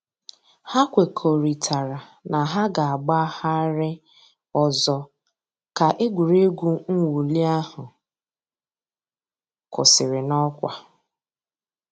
Hà kwèkọ̀rìtàrā nà hà gà-àgbàghàrì òzò̩ kà ègwè́régwụ̀ mwụ̀lì àhụ̀ kwụsìrì n'ọkwà.